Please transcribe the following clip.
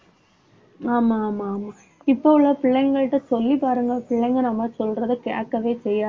ஆமா ஆமா ஆமா இப்போ உள்ள பிள்ளைங்கள்ட்ட சொல்லி பாருங்க பிள்ளைங்க நம்ம சொல்றதை கேக்கவே செய்யாது.